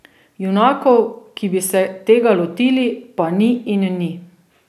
Junakov, ki bi se tega lotili, pa ni in ni.